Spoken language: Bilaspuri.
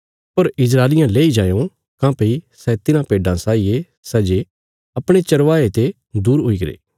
पर इस्राएलियां लेई जायों काँह्भई सै तिन्हां भेड्डां साई ये सै जे अपणे चरवाहे ते दूर हुईगरे